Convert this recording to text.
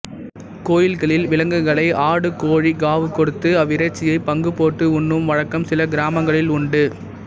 கோயில்களில் விலங்குகளை ஆடு கோழி காவு கொடுத்து அவ்விறைச்சியை பங்கு போட்டு உண்ணும் வழக்கம் சில கிராமங்களில் உண்டு